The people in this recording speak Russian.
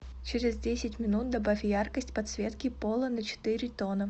через десять минут добавь яркость подсветки пола на четыре тона